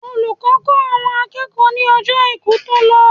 Olùkọ́ kọ́ àwọn akẹ́kọ̀ọ́ ní Ọjọ́ Àìkú tó lọ.